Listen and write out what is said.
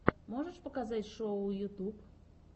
можешь показать шоу ютьюб